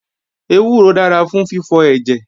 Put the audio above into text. Ewúro dára fún fífọ ẹ̀jẹ̀